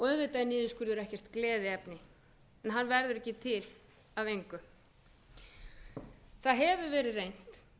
vitað er niðurskurður ekkert gleðiefni en hann verður ekki til af engu það hefur verið reynt